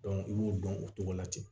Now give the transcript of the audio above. i b'o dɔn o cogo la ten